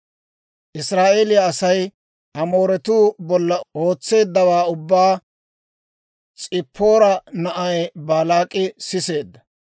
Israa'eeliyaa Asay Amooretuu bolla ootseeddawaa ubbaa S'ippoora na'ay Baalaak'i siseedda.